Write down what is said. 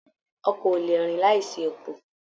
Ọkọ o lè rìn láìsí epo.